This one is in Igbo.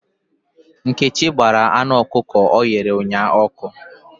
Nkechi gbara ọkụkọ ọ chụrụ ụnyahụ ọkụ.